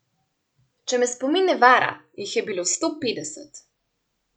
Če me spomin ne vara, jih je bilo sto petdeset.